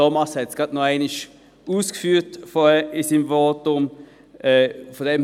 Thomas Brönnimann hat es in seinem Votum noch einmal ausgeführt.